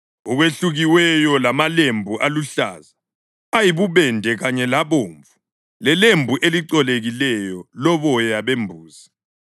okwelukiweyo lamalembu aluhlaza, ayibubende kanye labomvu, lelembu elicolekileyo, loboya bembuzi,